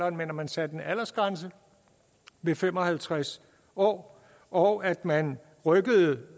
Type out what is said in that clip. at man satte en aldersgrænse ved fem og halvtreds år og at man rykkede